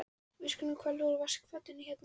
Við skulum hvolfa úr vaskafatinu hérna rétt hjá.